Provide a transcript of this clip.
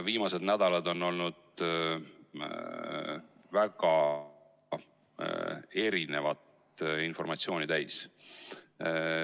Viimased nädalad on olnud väga erinevat informatsiooni täis.